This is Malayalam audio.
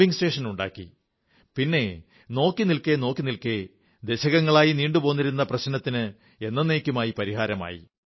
പമ്പിംഗ് സ്റ്റേഷനുണ്ടാക്കി പിന്നെ നോക്കിനിൽക്കെ ദശകങ്ങളായി നീണ്ടുപോന്നിരുന്ന പ്രശ്നത്തിന് എന്നന്നേക്കുമായി സമാധാനമായി